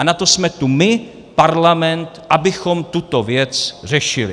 A na to jsme tu my, parlament, abychom tuto věc řešili.